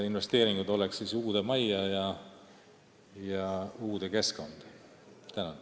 Investeeringud võetaks kasutusele uues majas ja uues keskkonnas.